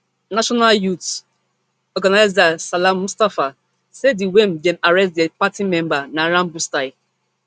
national youth organiser salam mustapha say di way dem arrest dia party member na rambostyle